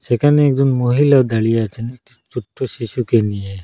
এখানে একজন মহিলাও দাঁড়িয়ে আছেন একটি ছোট্ট শিশুকে নিয়ে।